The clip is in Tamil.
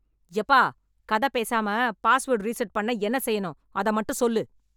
யெப்பா கதை பேசாம பாஸ்வர்ட் ரீசெட் பண்ண என்ன செய்யணும், அத மட்டும் சொல்லு.